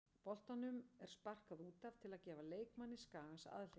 Boltanum er sparkað út af til að gefa leikmanni Skagans aðhlynningu.